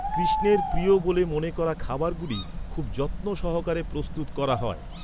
কৃষ্ণের প্রিয় বলে মনে করা খাবারগুলি খুব যত্ন সহকারে প্রস্তুত করা হয়।